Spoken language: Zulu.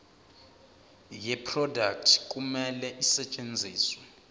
yeproduct kumele isetshenziswe